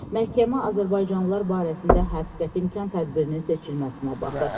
Məhkəmə azərbaycanlılar barəsində həbs qəti imkan tədbirinin seçilməsinə baxır.